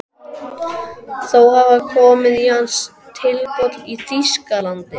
Þó hafa komið í hana tilboð í Þýskalandi.